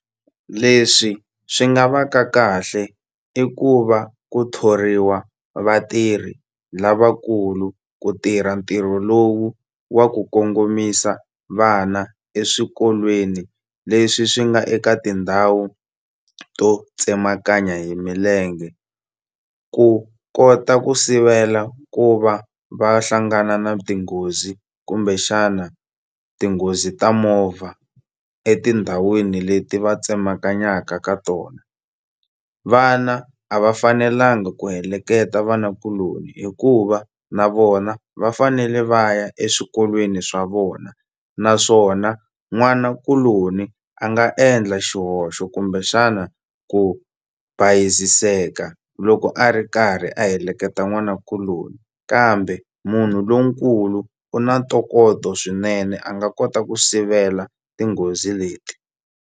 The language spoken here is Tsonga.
Leswi swi nga va ka kahle i ku va ku thoriwa vatirhi lavakulu ku tirha ntirho lowu wa ku kongomisa vana eswikolweni leswi swi nga eka tindhawu to tsemakanya hi milenge ku kota ku sivela ku va va hlangana na tinghozi kumbexana tinghozi ta movha etindhawini leti va tsemakanyaka ka tona vana a va fanelangi ku heleketa vanakuloni hikuva na vona va fanele va ya eswikolweni swa vona naswona n'wanakuloni a nga endla xihoxo kumbe xana ku bayiziseka loko a ri karhi a heleketa n'wanakuloni kambe munhu lonkulu u na ntokoto swinene a nga kota ku sivela tinghozi leti.